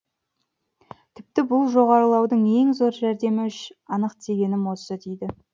тіпті бұл жоғарылаудың ең зор жәрдемі үш анық дегенім осы дейді